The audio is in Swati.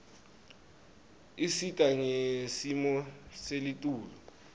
isita ngesimo selitulu